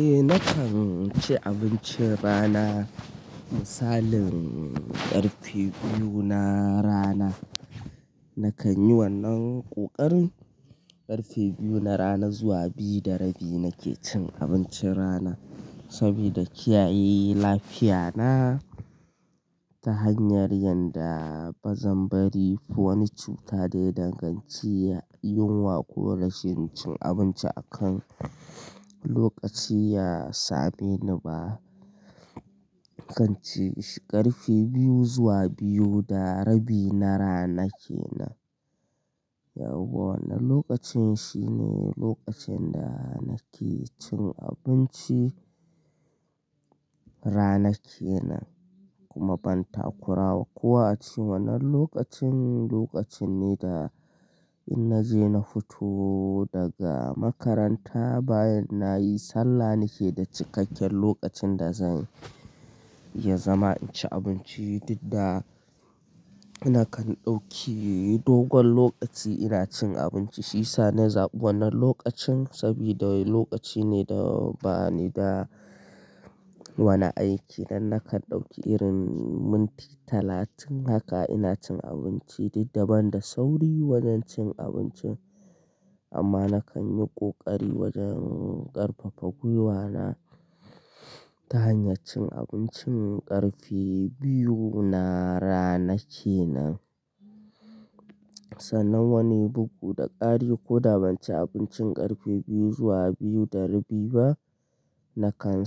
Eh nakan ci abincin rana misalin ƙarfe biyu na rana. Nakan yi wannan ƙoƙarin ƙarfe biyu na rana zuwa biyu da rabi nakan ci abincin rana saboda kiyaye lafiya na ta hanyar yadda bazan bari wani cuta dai danganci yinwa ko rashin cin abinci a kan lokaci ya same ni ba. Kanci shi ƙarfe biyu zuwa biyu da rabi na rana kenan. Wannan lokacin shine lokacin da nake cin abinci rana kenan kuma ban takurawa kowa a cikin wannan lokacin lokaci ne da in naje na fito daga makaranta bayan nayi sallah nake da cikakken lokacin da zan iya zama inci abinci didda. Nakan ɗauki dogon lokaci ina cin abinci shiyasa na zaɓi wannan lokacin saboda lokaci ne da bani da wani aiki dan nakan ɗauki irin minti talatin haka ina cin abinci didda banda sauri wajen cin abinci amma nakan yi kokari wajen ƙarfafa gwiwa na ta hanyar cin abincin ƙarfe biyu na rana kenan. Kuma ban takurawa kowa a cikin wannan lokacin lokaci ne da in naje na fito daga makaranta bayan nayi sallah nake da cikakken lokacin da zan iya zama inci abinci didda.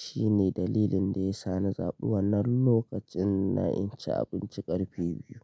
Shine dalilin da ya sa na zaɓi wannan lokacin na inci abinci ƙarfe biyu.